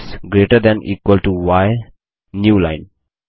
x greater than equal to y new line